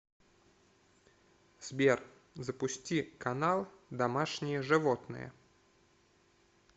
сбер запусти канал домашние животные